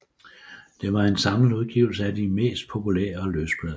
Det var en samlet udgivelse af de mest populære løsblade